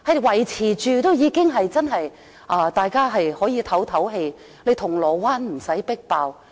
維持這個數字，已經可以讓大家舒一口氣，銅鑼灣不用再"迫爆"。